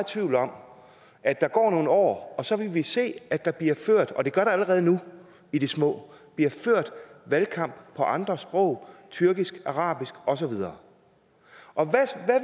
tvivl om at der går nogle år og vi så vil se at der bliver ført og det gør der allerede nu i det små valgkamp på andre sprog tyrkisk arabisk og så videre og